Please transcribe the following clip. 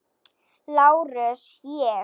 LÁRUS: Ég?